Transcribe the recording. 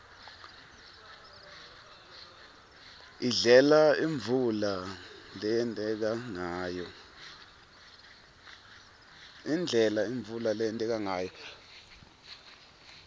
indlela imvula leyenteka ngayo